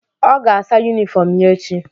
Ọ ga-asa yunifọm ya echi.